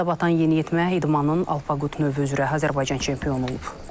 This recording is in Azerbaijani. Suda batan yeniyetmə idmanın Alpaqut növü üzrə Azərbaycan çempionu olub.